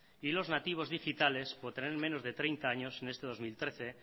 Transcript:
y los nativos digitales por tener menos de treinta años en este dos mil trece